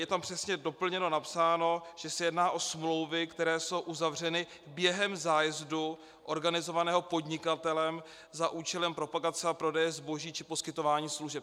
Je tam přesně doplněno, napsáno, že se jedná o smlouvy, které jsou uzavřeny během zájezdu organizovaného podnikatelem za účelem propagace a prodeje zboží či poskytování služeb.